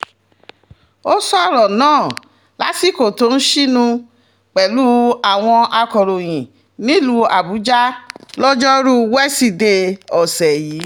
ó sọ̀rọ̀ náà lásìkò tó ń sínú pẹ̀lú àwọn akọ̀ròyìn nílùú àbújá lojoruu wesidee ọ̀sẹ̀ yìí